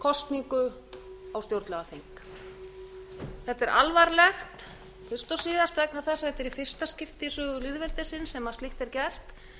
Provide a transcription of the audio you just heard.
kosningu á stjórnlagaþing þetta er alvarlegt fyrst og síðast vegna þess að þetta er í fyrsta skipti í sögu lýðveldisins sem slíkt er gert